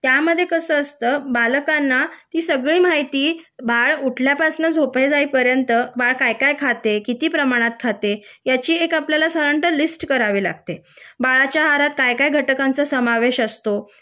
त्यामध्ये कस असत बालकांना ती सगळी माहिती बाळ उठल्यापासून झोपी जाई पर्यन्त बाळ काय काय खाते कीती प्रमाणात खाते याची आपल्याला साधारण: एक लिस्ट करावी लागेल बाळाच्या आहारात काय काय घटकांचा समावेश असतो